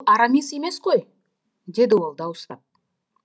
арамис емес қой деді ол дауыстап